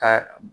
Ka